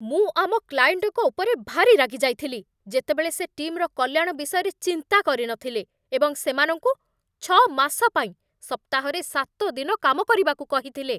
ମୁଁ ଆମ କ୍ଲାଏଣ୍ଟଙ୍କ ଉପରେ ଭାରି ରାଗିଯାଇଥିଲି, ଯେତେବଳେ ସେ ଟିମ୍‌ର କଲ୍ୟାଣ ବିଷୟରେ ଚିନ୍ତା କରିନଥିଲେ ଏବଂ ସେମାନଙ୍କୁ ଛଅ ମାସ ପାଇଁ ସପ୍ତାହରେ ସାତ ଦିନ କାମ କରିବାକୁ କହିଥିଲେ।